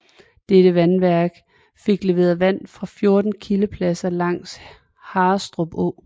Dette vandværk fik leveret vand fra 14 kildepladser langs Harrestrup Å